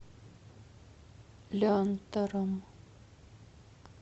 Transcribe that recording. лянтором